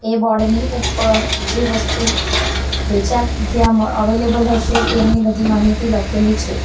Board ની ઉપર જે વસ્તુ વેચાણ ત્યાં અવેલેબલ હશે તેની બધી માહિતી લખેલી છે.